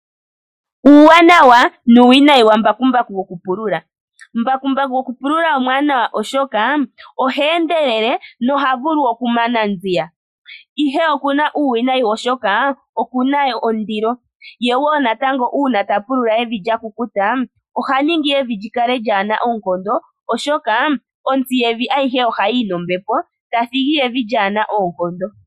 Uuwanawa nuuwinayi wambakumbaku wokupulula. Mbakumbaku gokupulula omwanawa oshoka oha endelele na oha vulu okumana nziya, ihe okuna uuwinayi oshoka okuna ondilo, ye wo natango uuna tapulula evi lyakukuta ohaningi evi lyikale lyaana oonkondo, oshoka otsi yevi ayihe ohayiyi nombepo tathigi evi lyaana oonkondo.